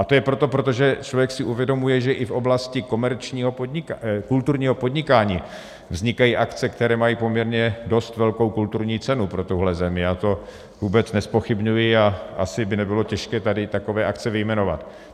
A to je proto, protože člověk si uvědomuje, že i v oblasti kulturního podnikání vznikají akce, které mají poměrně dost velkou kulturní cenu pro tuhle zemi, já to vůbec nezpochybňuji, a asi by nebylo těžké tady takové akce vyjmenovat.